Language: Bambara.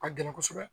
A ka gɛlɛn kosɛbɛ